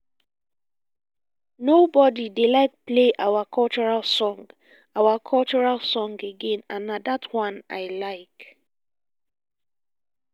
nobody dey like play our cultural song our cultural song again and na dat one i like